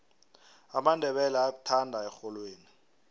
amandebele ayakuthanda erholweni